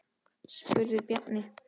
spurði Bjarni.